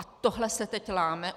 A tohle se teď láme.